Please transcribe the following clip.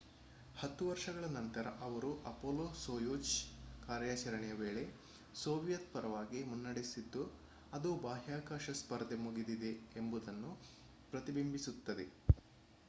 ಹತ್ತು ವರ್ಷಗಳ ನಂತರ ಅವರು ಅಪೊಲೊ-ಸೋಯುಜ್ ಕಾರ್ಯಾಚರಣೆಯ ವೇಳೆ ಸೋವಿಯತ್ ಪರವಾಗಿ ಮುನ್ನಡೆಸಿದ್ದು ಅದು ಬಾಹ್ಯಾಕಾಶ ಸ್ಪರ್ಧೆ ಮುಗಿದಿದೆ ಎಂಬುದನ್ನು ಪ್ರತಿಬಿಂಬಿಸುತ್ತದೆ